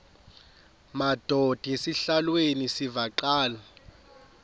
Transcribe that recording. madod asesihialweni sivaqal